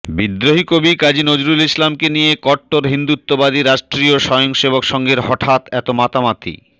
বিদ্রোহী কবি কাজী নজরুল ইসলামকে নিয়ে কট্টর হিন্দুত্ববাদী রাষ্ট্রীয় স্বয়ং সেবক সংঘের হঠাৎ এত মাতামাতি